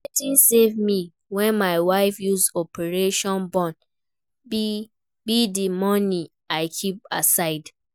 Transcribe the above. Wetin save me wen my wife use operation born be the money I keep aside